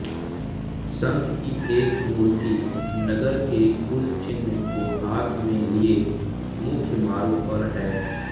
संत की एक मूर्ति नगर के कुलचिन्ह को हाथ में लिए मुख्य मार्ग पर है